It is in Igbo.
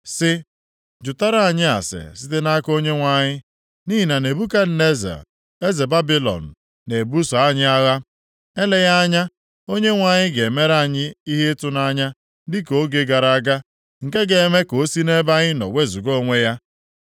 sị, “Jụtara anyị ase site nʼaka Onyenwe anyị, nʼihi na Nebukadneza eze Babilọn na-ebuso anyị agha. Eleghị anya Onyenwe anyị ga-emere anyị ihe ịtụnanya dịka oge gara aga, nke ga-eme ka o si nʼebe anyị nọ wezuga onwe ya.”